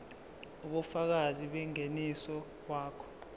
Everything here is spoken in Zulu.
ubufakazi bengeniso wakho